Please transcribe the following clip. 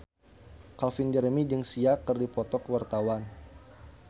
Calvin Jeremy jeung Sia keur dipoto ku wartawan